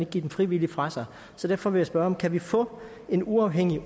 give dem frivilligt fra sig så derfor vil jeg spørge kan vi få en uafhængig